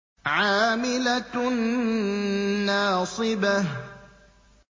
عَامِلَةٌ نَّاصِبَةٌ